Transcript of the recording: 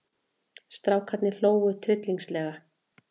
Strákarnir hlógu tryllingslega.